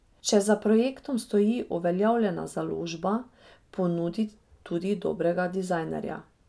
Če za projektom stoji uveljavljena založba, ponudi tudi dobrega dizajnerja.